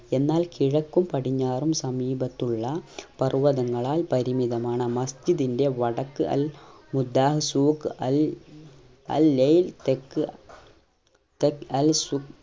എന്നാൽ കിഴക്കും പടിഞ്ഞാറും സമീപത്തുള്ള പർവ്വതങ്ങളാൽ പരിമിതമാണ് മസ്ജിന്റെ വടക്ക് അൽ മുദ്ദഹ് സൂഖ് അൽ ലയിൽ തെക്ക് സൂഖ്